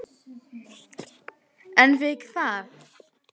En við hvað?